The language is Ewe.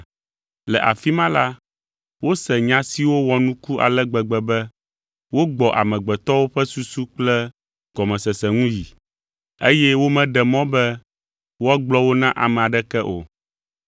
Le afi ma la, wose nya siwo wɔ nuku ale gbegbe be wogbɔ amegbetɔwo ƒe susu kple gɔmesese ŋu yi, eye womeɖe mɔ be woagblɔ wo na ame aɖeke o.